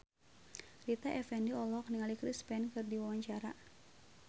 Rita Effendy olohok ningali Chris Pane keur diwawancara